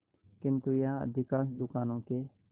किंतु यहाँ अधिकांश दुकानों के